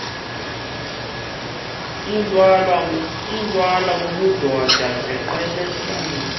ithwala ubudoda ziqhelanise